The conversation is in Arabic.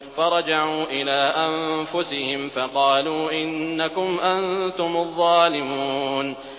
فَرَجَعُوا إِلَىٰ أَنفُسِهِمْ فَقَالُوا إِنَّكُمْ أَنتُمُ الظَّالِمُونَ